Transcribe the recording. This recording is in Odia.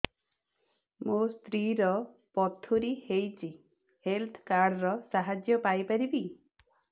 ମୋ ସ୍ତ୍ରୀ ର ପଥୁରୀ ହେଇଚି ହେଲ୍ଥ କାର୍ଡ ର ସାହାଯ୍ୟ ପାଇପାରିବି